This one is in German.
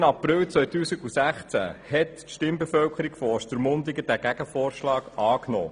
Am 3. April 2016 nahm die Stimmbevölkerung von Ostermundigen diesen Gegenvorschlag an.